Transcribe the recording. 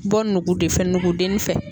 Bɔ nugu de fɛ nugudenin fɛ.